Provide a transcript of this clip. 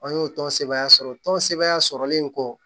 An y'o tɔn sɛbɛn tɔn sɛbɛn sɔrɔlen kɔ